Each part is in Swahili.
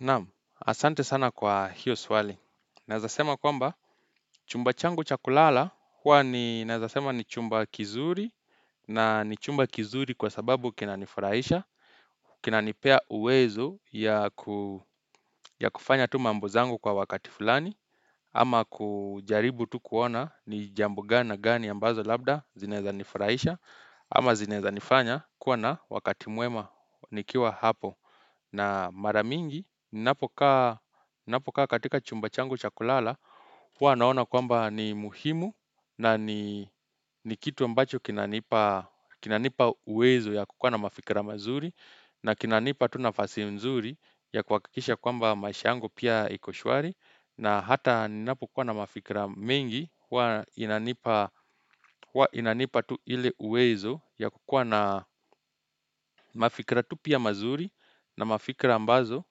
Naam, asante sana kwa hiyo swali. Naweza sema kwamba, chumba changu cha kulala huwa ni nawezasema ni chumba kizuri na ni chumba kizuri kwa sababu kinanifurahisha. Kinanipea uwezo ya kufanya tu mambo zangu kwa wakati fulani ama kujaribu tu kuona ni jambo gani na gani ambazo labda zinaweza nifurahisha ama zinaweza nifanya kuwa na wakati mwema nikiwa hapo. Na mara mingi, ninapokaa katika chumba changu cha kulala, hua naona kwamba ni muhimu na ni kitu ambacho kinanipa kinanipa uwezo ya kukuwa na mafikira mazuri na kinanipa tu nafasi nzuri ya kuhakikisha kwamba maisha yangu pia iko shwari. Na hata ninapokuwa na mafikra mingi huwa inanipa tu ile uwezo ya kukuwa na mafikra tu pia mazuri na mafikra ambazo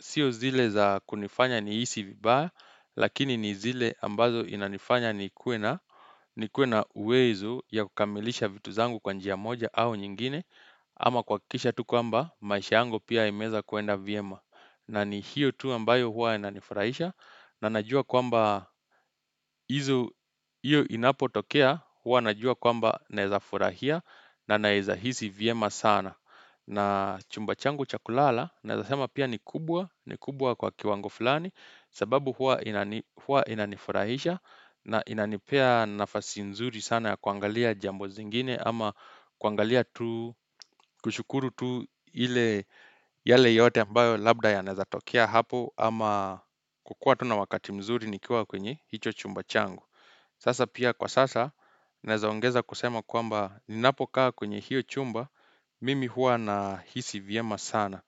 sio zile za kunifanya nihisi vibaya lakini ni zile ambazo inanifanya nikuwe na nikuwe na uwezo ya kukamilisha vitu zangu kwa njia moja au nyingine Ama kuhakikisha tu kwamba maisha yangu pia imeweza kuenda vyema. Na ni hiyo tu ambayo huwa inanifurahisha na najua kwamba izo, hiyo inapotokea huwa najua kwamba naweza furahia na naweza hisi vyema sana. Na chumba changu cha kulala naweza sema pia ni kubwa, ni kubwa kwa kiwango fulani sababu huwa inani hua inanifurahisha na inanipea nafasi nzuri sana ya kuangalia jambo zingine ama kuangalia tu, kushukuru tu ile yale yote ambayo labda yanawezatokea hapo ama kukuwa tu na wakati mzuri nikiwa kwenye hicho chumba changu Sasa pia kwa sasa nawezaongeza kusema kwamba ninapokaa kwenye hiyo chumba, mimi huwa nahisi vyema sana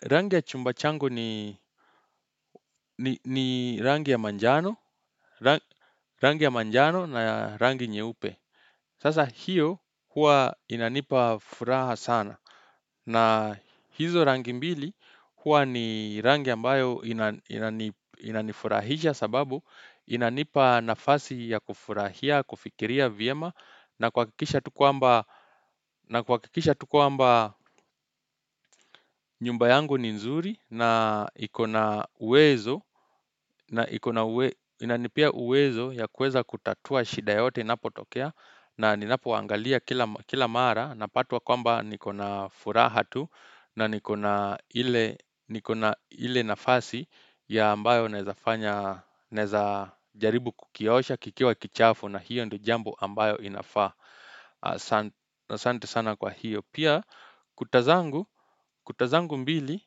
Rangi ya chumba changu ni rangi ya manjano, rangi ya manjano na rangi nyeupe Sasa hiyo huwa inanipa furaha sana na hizo rangi mbili huwa ni rangi ambayo inanifurahisha sababu inanipa nafasi ya kufurahia, kufikiria vyema na kuhakikisha tu kwamba na kuhakikisha tu kwamba nyumba yangu ni nzuri na iko na uwezo na ikona uwe inanipia uwezo ya kuweza kutatua shida yoyote inapotokea na ninapoangalia kila mara napatwa kwamba niko na furaha tu na niko na ile nikona ile nafasi ya ambayo naweza fanya naweza jaribu kukiosha kikiwa kichafu na hiyo ndo jambo ambayo inafaa. Asanti sana kwa hiyo. Pia kuta zangu, kuta zangu mbili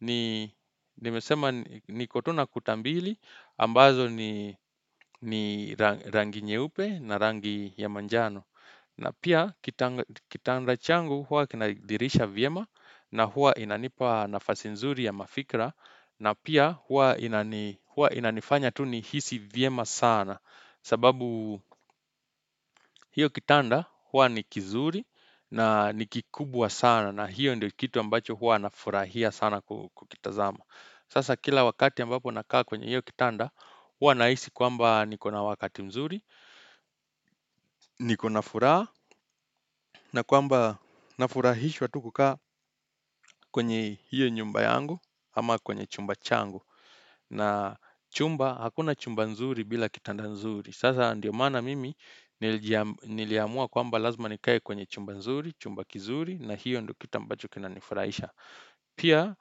ni nimesema niko tu na kuta mbili ambazo ni rangi nyeupe na rangi ya manjano. Na pia, kitanda changu huwa kina dirisha vyema na huwa inanipa nafasi nzuri ya mafikra. Na pia huwa inanifanya tu nihisi vyema sana sababu hiyo kitanda huwa ni kizuri na ni kikubwa sana na hiyo ndiyo kitu ambacho huwa nafurahia sana kukitazama. Sasa kila wakati ambapo nakaa kwenye hiyo kitanda huwa nahisi kwamba niko na wakati mzuri niko na furaha na kwamba nafurahishwa tu kukaa kwenye hiyo nyumba yangu ama kwenye chumba changu na chumba, hakuna chumba nzuri bila kitanda nzuri sasa ndio maana mimi niliamua kwamba lazima nikae kwenye chumba nzuri, chumba kizuri na hiyo ndiyo kitu ambacho kinanifurahisha. Pia,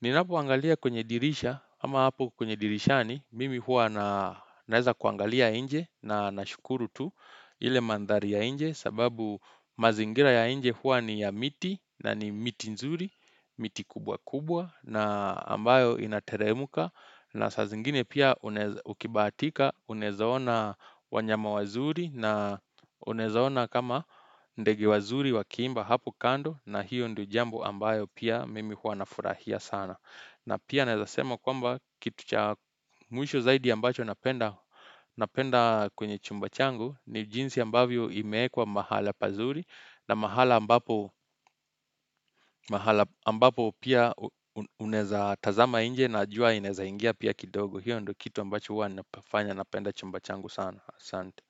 ninapoangalia kwenye dirisha ama hapo kwenye dirishani mimi huwa naweza kuangalia nje na nashukuru tu ile manthari ya nje sababu mazingira ya nje huwa ni ya miti na ni miti nzuri, miti kubwa kubwa na ambayo inateremka na saa zingine pia ukibatika unaweza ona wanyama wazuri na unaweza ona kama ndege wazuri wakiimba hapo kando na hiyo ndiyo jambo ambayo pia mimi huwa nafurahia sana. Na pia naweza sema kwamba kitu cha mwisho zaidi ambacho napenda napenda kwenye chumba changu ni jinsi ambavyo imeekwa mahala pazuri na mahala ambapo ambapo pia unaweza tazama nje na jua inaweza ingia pia kidogo. Hiyo ndo kitu ambacho huwa nafanya napenda chumba changu sana. Asante.